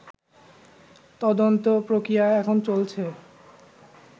তদন্ত প্রক্রিয়া এখন চলছে